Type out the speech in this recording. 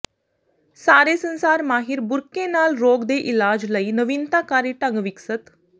ਸਾਰੇ ਸੰਸਾਰ ਮਾਹਿਰ ਬੁਰਕੇ ਨਾਲ ਰੋਗ ਦੇ ਇਲਾਜ ਲਈ ਨਵੀਨਤਾਕਾਰੀ ਢੰਗ ਵਿਕਸਤ